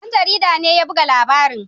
Ɗan jarida ne ya buga labarin.